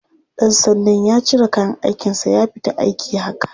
Ɗan sandan ya cire kayan aikinsa ya fita aiki haka.